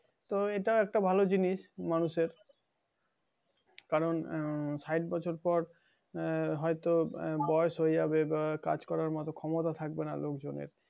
তো এটা একটা ভালো জিনিস মানুষের। কারণ আহ শাটবছর পর আহ হয়তো আহ বয়স হয়ে যাবে বা কাজ করার মত ক্ষমতা থাকবে না লোকজনের।